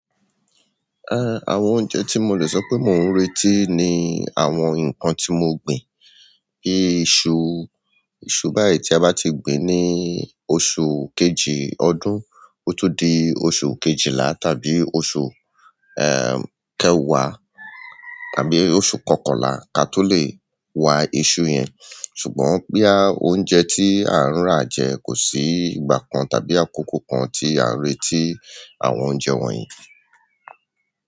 Eh, àwọn oúnjẹ tí mo lè sọ pé mò ń retí ni àwọn nǹkan tí mo gbìn. Bíi iṣu, iṣu báyìí tí a bá ti gbìn ní oṣù kejì ọdún, ó tún di oṣù kejìlá tàbí oṣù, ehm, kẹwàá tàbí oṣù kọkànlá kí a tó lè wá iṣu yẹn. Ṣùgbọ́n péá oúnjẹ tí à ń rà jẹ kò sí ìgbà kan tàbí àkókò kan tí à ń retí àwọn oúnjẹ wọ̀nyí.